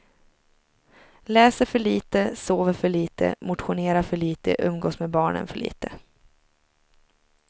Läser för lite, sover för lite, motionerar för lite, umgås med barnen för lite.